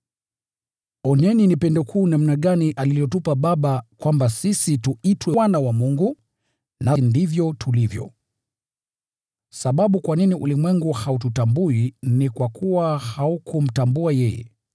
Tazameni ni pendo kuu namna gani alilotupa Baba, kwamba sisi tuitwe wana wa Mungu! Na ndivyo tulivyo. Kwa sababu hii ulimwengu haututambui, kwa kuwa haukumtambua yeye.